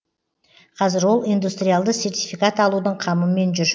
қазір ол индустриалды сертификат алудың қамымен жүр